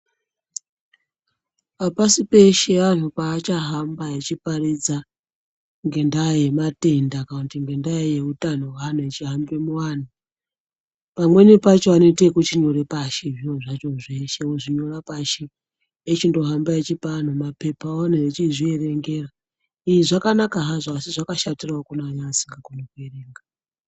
Apasi peshe antu paachahamba achiparidza ngendaa yematenda, kana kuti ngendaa ye utano hweantu , vachihamba muvantu. Pamweni pacho anoita ekuchinyora pashi zviro zvacho zvose ozvinyore pashi. Echindohamba eipa vantu mapepawo echizviverengera . Izvi zvakanaka hazvo asi zvakashatirawo kune asingakoni kuerengera ega.